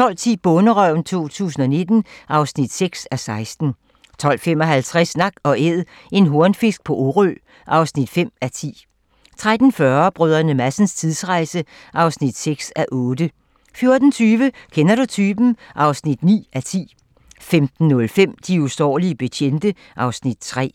12:10: Bonderøven 2019 (6:16) 12:55: Nak & Æd - en hornfisk på Orø (5:10) 13:40: Brdr. Madsens tidsrejse (6:8) 14:20: Kender du typen? (9:10) 15:05: De usårlige betjente (Afs. 3)